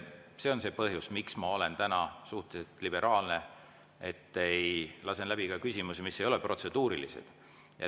See on see põhjus, miks ma olen täna suhteliselt liberaalne, lasen läbi ka küsimusi, mis ei ole protseduurilised.